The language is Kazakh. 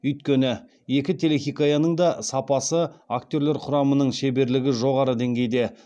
өйткені екі телехикаяның да сапасы актерлер құрамының шеберлігі жоғары деңгейде